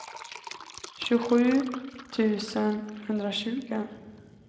tjugosju tusen etthundratjugo